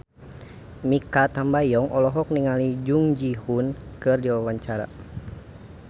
Mikha Tambayong olohok ningali Jung Ji Hoon keur diwawancara